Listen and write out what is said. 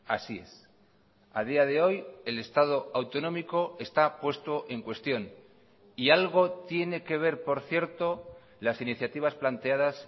así es a día de hoy el estado autonómico está puesto en cuestión y algo tiene que ver por cierto las iniciativas planteadas